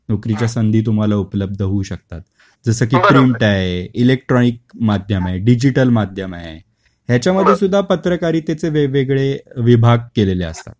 नोकरीच्या संधी तुम्हाला उपलब्ध होऊ शकतात. जस की प्रिंट आहे, इलेक्ट्रॉनिक माध्यम आहे, डिजिटल माध्यम आहे, ह्याच्या मध्ये सुद्धा पत्रकारितेचे वेगवेगळे विभाग केलेले असतात.